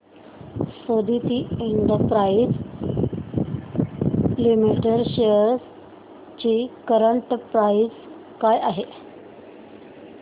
Suditi industries limited shares ची current price काय आहे